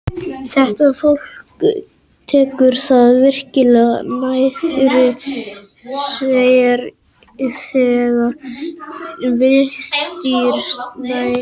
Þetta fólk tekur það virkilega nærri sér þegar villt dýr sæta illri meðferð.